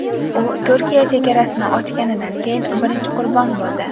U Turkiya chegarasini ochganidan keyin birinchi qurbon bo‘ldi.